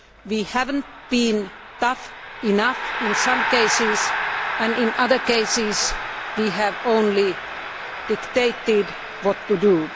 We have not been tough enough in some cases and in other cases we have only dictated what to do.